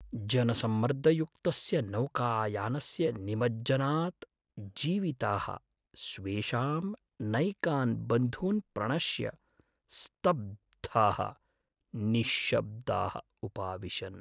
जनसम्मर्दयुक्तस्य नौकायानस्य निमज्जनात् जीविताः, स्वेषां नैकान् बन्धून् प्रणश्य स्तब्धाः निश्शब्दाः उपाविशन्।